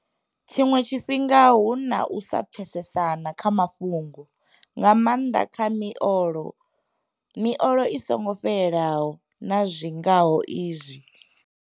Tshiṅwe tshifhinga hu na u sa pfesesana kha mafhungo, nga maanḓa kha miolo, miolo i songo fhelaho na zwi ngaho izwo.